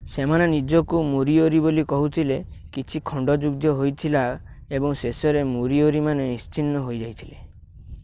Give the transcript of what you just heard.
ସେମାନେ ନିଜକୁ ମୋରିଓରି ବୋଲି କହୁଥିଲେ କିଛି ଖଣ୍ଡଯୁଦ୍ଧ ହୋଇଥିଲା ଏବଂ ଶେଷରେ ମୋରିଓରିମାନେ ନିଶ୍ଚିହ୍ନ ହୋଇଯାଇଥିଲେ